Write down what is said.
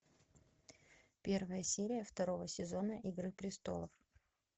первая серия второго сезона игры престолов